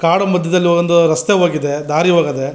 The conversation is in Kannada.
ಕಾಡು ಮದ್ಯದಲ್ಲಿ ಒಂದು ರಸ್ತೆ ಹೋಗಿದೆ ದಾರಿ ಹೋಗದೆ.